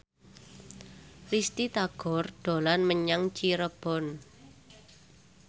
Risty Tagor dolan menyang Cirebon